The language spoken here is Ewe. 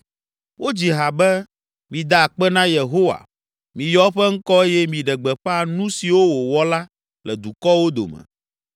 Wodzi ha be: Mida akpe na Yehowa Miyɔ eƒe ŋkɔ eye miɖe gbeƒã nu siwo wòwɔ la le dukɔwo dome.